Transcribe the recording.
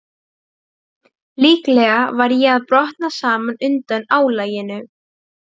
Úr þeim bý ég saft sem þroskast út á búðing.